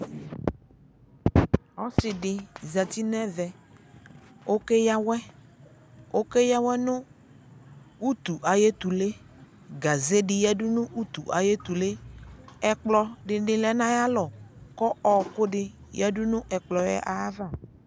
Ɔsi dι zati nʋ ɛvɛ Okeyawɛ, okeyawɛ nʋ utu ayʋ etule Gaze dι ya dʋ nʋ utu ayʋ etulee Ɛplɔ dι lɛ nʋ ayʋ alɔkʋ ɔɔkʋ dι yadʋ nʋ ɛkplɔ yɛ ava